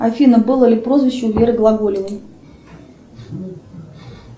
афина было ли прозвище у веры глаголевой